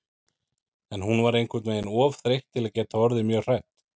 En hún var einhvern veginn of þreytt til að geta orðið mjög hrædd.